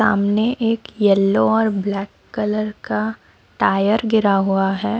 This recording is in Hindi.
सामने एक येलो और ब्लैक कलर का टायर गिरा हुआ है।